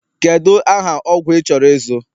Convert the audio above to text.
Kedu aha ọgwụ ị chọrọ ịzụ?